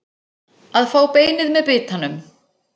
Að fá beinið með bitanum